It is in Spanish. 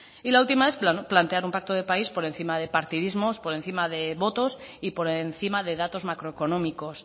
y la última es plantear un pacto de país por encima de partidismos por encima de votos y por encima de datos macroeconómicos